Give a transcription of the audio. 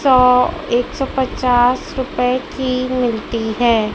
सौ एक सौ पच्चास रुपए की मिलती है।